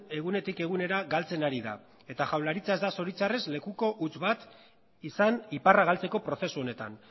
egunetik egunera galtzen ari da eta jaurlaritza ez da zoritxarrez lekuko huts bat izan iparra galtzeko prozesu honetan